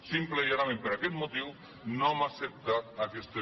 simplement per aquest motiu no hem acceptat aquestes esmenes